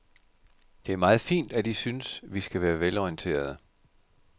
Det er meget fint, at I synes, vi skal være velorienterede.